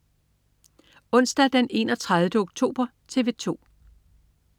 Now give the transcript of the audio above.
Onsdag den 31. oktober - TV 2: